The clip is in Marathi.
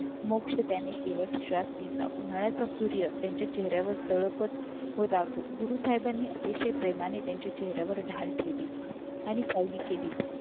मोक्ष त्याने सुरत श्वास घेतला उन्हाळ्याच्या सूर्या त्यांच्या चेहऱ्यावर तडपत होता गुरु साहेबांनी अतिशय प्रेमाने त्यांच्या चेहऱ्यावर ढाल फेडले आणि सावली केली